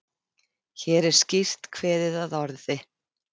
Hér er skýrt kveðið að orði